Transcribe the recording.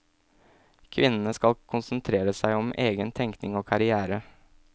Kvinnene skal få konsentrere seg om egen tenkning og karrière.